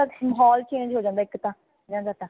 ਉਨ੍ਹਾਂ ਦਾ ਮਹੌਲ change ਹੋ ਜਾਂਦਾ ਹੈ ਇਕ ਤਾ ਜਾਂਦਾ ਤਾ